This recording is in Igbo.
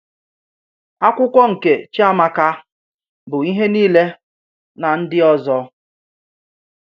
Ákwụ́kwọ̀ nke Chíàmákà bụ́ íhè niilè nà ndị́ òzò.